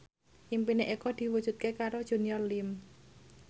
impine Eko diwujudke karo Junior Liem